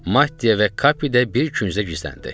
Mattia və Kapi də bir küncə gizləndi.